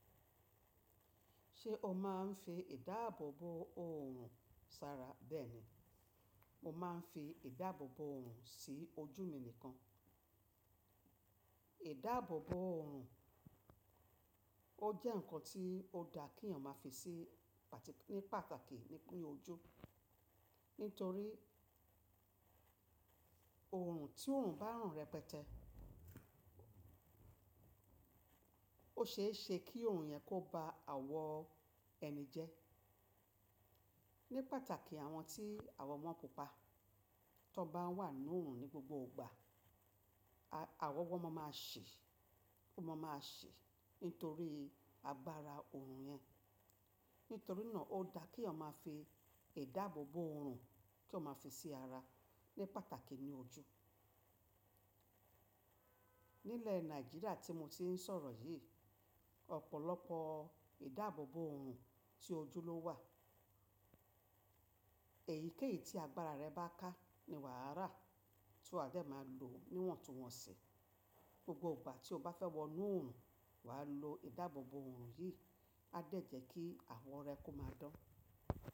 Ṣé o máa ń fi ìdáàbòbò òòrùn sara? Bẹ́ẹ̀ ni, mo máa ń fi ìdáàbòbò òòrùn sí ojú mi nìkan. Ìdáàbòbò òòrùn ó jẹ́ ǹkan tí ó da kí èèyàn máa fi sí ní pàtàkì ní oju. Nítorí òòrùn tí òòrùn bá ràn rẹ pẹtẹ. Ó ṣe é ṣe kí òòrùn yẹn kó ba awọ ẹni jẹ. Ní pàtàkì àwọn tí awọ wọn pupa, tí wọ́n bá wà nínú òòrùn ní gbogbo ìgbà, awọ wọn máa ṣi, ó máa ṣi nítorí agbára òòrùn yẹn. Nítorí náà ó da kí èèyàn máa fi ìdáàbòbò òòrùn kí wọ́n máa fi sí ara ní pàtàkì ní ojú. Nílẹ̀ Nàìjíríà tí mo ti ń sọ̀rọ̀ yìí, ọ̀pọ̀lọpọ̀ ìdáàbòbò òòrùn tí ojú ló wà. Èyíkéyìí tí agbára rẹ bá ká ni wàá rà tí wà á de máa lò níwọ̀n tuwọ̀n ṣi. Gbogbo ìgbà tí o bá fẹ́ wọ inú òòrùn, wà á lo ìdáàbòbò òòrùn yìí. A dẹ́ je kí awọ rẹ kó máa dán.